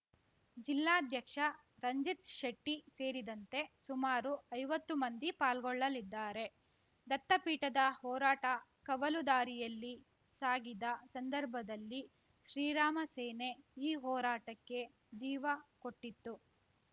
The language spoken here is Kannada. ಜಿಲ್ಲಾಧ್ಯಕ್ಷ ರಂಜಿತ್‌ ಶೆಟ್ಟಿಸೇರಿದಂತೆ ಸುಮಾರು ಐವತ್ತು ಮಂದಿ ಪಾಲ್ಗೊಳ್ಳಲಿದ್ದಾರೆ ದತ್ತಪೀಠದ ಹೋರಾಟ ಕವಲು ದಾರಿಯಲ್ಲಿ ಸಾಗಿದ ಸಂದರ್ಭದಲ್ಲಿ ಶ್ರೀರಾಮ ಸೇನೆ ಈ ಹೋರಾಟಕ್ಕೆ ಜೀವ ಕೊಟ್ಟಿತ್ತು